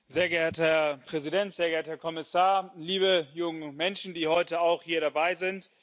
Herr Präsident, sehr geehrter Herr Kommissar, liebe junge Menschen, die heute auch hier dabei sind!